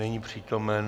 Není přítomen.